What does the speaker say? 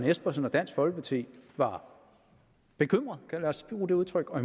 espersen og dansk folkeparti var bekymrede lad os bruge det udtryk og